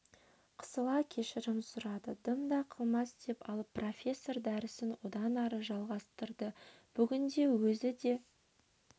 қысыла кешірім сұрады дымда қылмас деп алып профессор дәрісін одан ары жалғастырды бүгінде өзі де